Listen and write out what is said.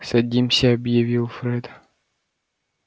садимся объявил фред